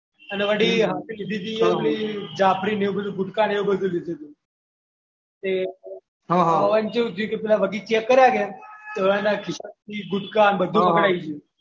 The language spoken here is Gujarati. એમાં ચેવું થયું બધું ચેક કરે ને ગુટકા ને બધું પકડાઈ ગયું. વળી જાફરી અને ગુટકા એવું બધું લીધું હતું